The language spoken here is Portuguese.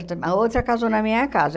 Outra a outra casou na minha casa.